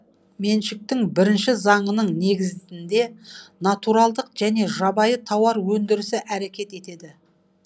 меншіктің бірінші заңының негізінде натуралдық және жабайы тауар өндірісі әрекет етеді